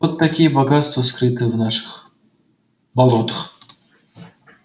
вот какие богатства скрыты в наших болотах